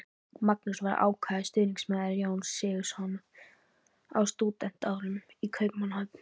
Magnús var ákafur stuðningsmaður Jóns Sigurðssonar á stúdentsárum í Kaupmannahöfn.